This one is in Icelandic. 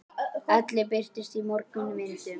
Ellin birtist í mörgum myndum.